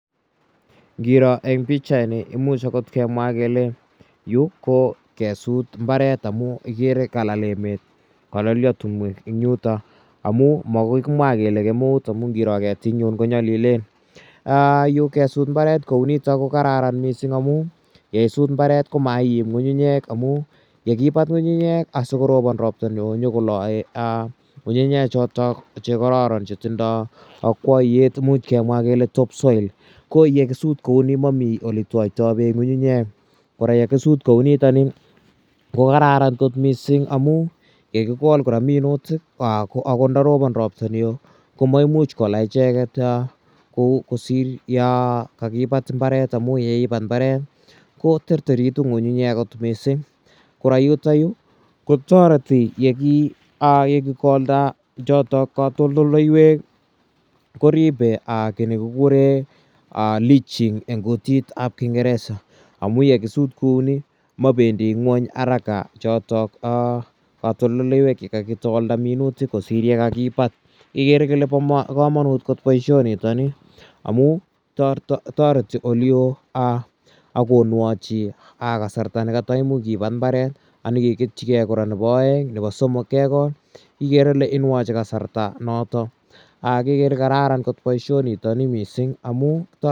Ngiro eng' pichaini imuch akot kemwa kele yu ko kesut mbaret amu ikere ka lal emet ka lalia timwek eng' yutok amu makoi kimwa kele kemeut amu ngiro ketik eng' yu ko nyalilen. Yu kesut mbaret kou nitok ko kararan missing' amu yeisut mbaret ko ma iim ng'ung'unyek amu yekipat ng'ung'unyek asikoropon ropta ne oo nyu ko lae ng'ung'unyek chotok che kararan che tindai akwaiyet imuch kemwa kele top soil. Ko ye kisut kou ni mami ole twaitai peek ng'ung'unyek. Kora ye kisut kou nitani ko kararan kot missing' amu ye kikol kora minutik akot ndaropon ropta ne oo ko ma imuch kola icheget kosir ya ka kipat mbaret amu ye ipat mbaret ko terteritu ng'ung'unyat koterteritu ng'ung'unyek kot missing'. Kora yutayu ko tareti ye kikolda chotok katoltoloiwek ko ripe ki ne kikure leaching eng' kutit ap kingeresa amu ye kisut kou ni mapendi ng'weny arak chotok katoltoloiwek che kakikolda minutik kosir ye kakipat ikere ile pa kamanut kot poishonitani amu tareti ole oo ak konwachi kasarta ne kata imuch ki pat mbaret ak nyi ke ketchigei kora nepo aeng' nepo somok kekol. Ikere kole inwachi kasarta notok. Kekere kele kararan missing' poishoni kora